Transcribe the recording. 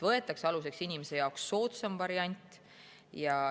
Võetakse aluseks inimese jaoks soodsam variant.